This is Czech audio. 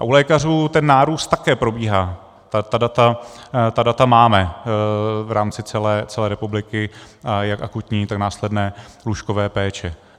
A u lékařů ten nárůst také probíhá, ta data máme v rámci celé republiky jak akutní, tak následné lůžkové péče.